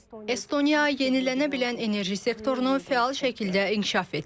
Estoniya yenilənə bilən enerji sektorunu fəal şəkildə inkişaf etdirir.